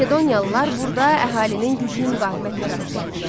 Makedoniyalılar burda əhalinin güclü müqavimətinə rast gəldilər.